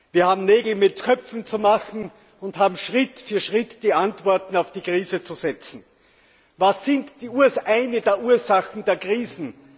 Wir haben Nägel mit Köpfen zu machen und haben Schritt für Schritt die Antworten auf die Krise zu geben. Was sind die Ursachen der Krisen?